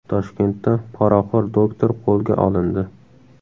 Toshkentda poraxo‘r doktor qo‘lga olindi.